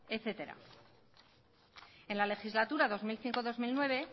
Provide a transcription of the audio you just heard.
etcétera en la legislatura dos mil cinco dos mil nueve